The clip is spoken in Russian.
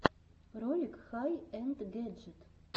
ролик хай энд гэджит